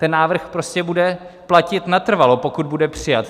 Ten návrh prostě bude platit natrvalo, pokud bude přijat.